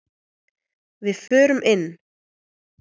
Við förum inn!